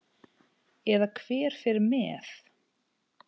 Eða hver fer með.